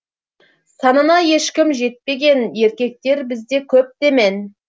санына ешкім жетпеген еркектер бізде көп демен